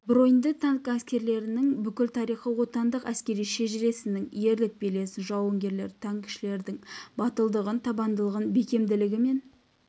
броньды танк әскерлерінің бүкіл тарихы отанның әскери шежіресінің ерлік белесін жауынгер танкішілердің батылдығын табандылығын бекемділігі мен